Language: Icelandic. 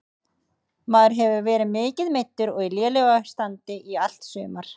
Maður hefur verið mikið meiddur og í lélegu standi í allt sumar.